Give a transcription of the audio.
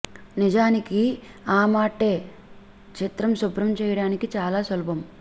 నిజానికి ఆ మాట్టే చిత్రం శుభ్రం చేయడానికి చాలా సులభం